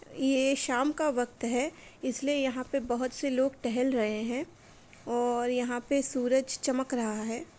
ये शाम का वक्त है इसलिए यहाँ पे बोहोत से लोग टहल रहे हैं और यहाँ पे सूरज चमक रहा है।